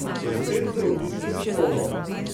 Spet z odlično diplomo.